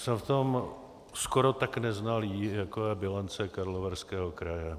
Jsem v tom skoro tak neznalý, jako je bilance Karlovarského kraje.